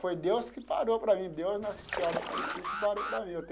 Foi Deus que parou para mim, Deus Nossa Senhora Aparecida que parou para mim.